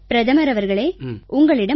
பிரதமர் அவர்களே உங்களிடம் ஒரு